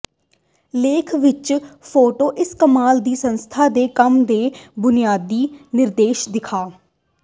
ਲੇਖ ਵਿੱਚ ਫੋਟੋ ਇਸ ਕਮਾਲ ਦੀ ਸੰਸਥਾ ਦੇ ਕੰਮ ਦੇ ਬੁਨਿਆਦੀ ਨਿਰਦੇਸ਼ ਦਿਖਾ